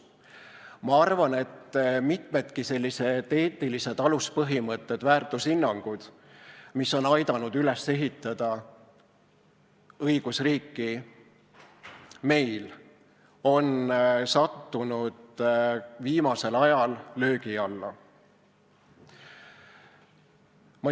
Ma arvan, et nii mitmedki eetilised aluspõhimõtted ja väärtushinnangud, mis on meil aidanud õigusriiki üles ehitada, on viimasel ajal sattunud löögi alla.